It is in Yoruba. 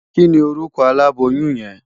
Kini órùkò àlábóyùn yèn?